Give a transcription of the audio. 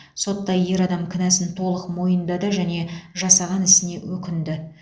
сотта ер адам кінәсін толық мойындады және жасаған ісіне өкінді